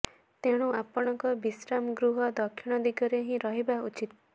ତେଣୁ ଆପଣଙ୍କ ବିଶ୍ରାମ ଗୃହ ଦକ୍ଷିଣ ଦିଗରେ ହିଁ ରହିବା ଉଚିତ